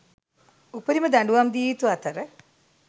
උපරිම දඩුවම් දිය යුතු අතර